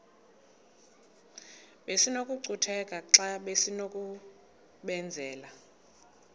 besinokucutheka xa besinokubenzela